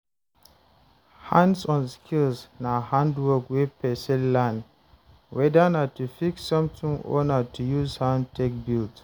hands on skills na handwork wey person learn, weda na to fix something or na to use hand take build